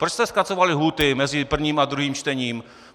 Proč jste zkracovali lhůty mezi prvním a druhým čtením?